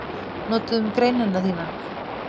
Notuðum greinina þína